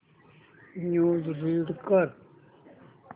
news read कर